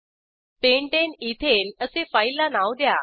pentane ethane असे फाईलला नाव द्या